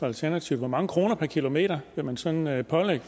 alternativet hvor mange kroner per kilometer man sådan vil pålægge